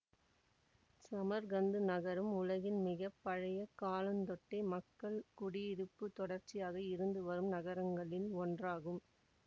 Samarkand நகரம் உலகில் மிக பழைய காலந்தொட்டே மக்கள் குடியிருப்பு தொடர்ச்சியாக இருந்து வரும் நகரங்களில் ஒன்றாகும்